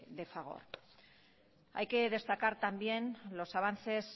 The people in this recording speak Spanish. de fagor hay que destacar también los avances